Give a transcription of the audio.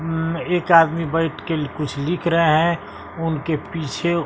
उम एक आदमी बैठ के कुछ लिख रहा है उनके पीछे--